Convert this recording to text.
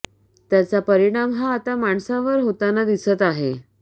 त्याचा परिणाम हा आता माणसांवर होताना दिसत आहे